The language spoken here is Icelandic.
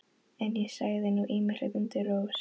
En ég sagði nú ýmislegt undir rós.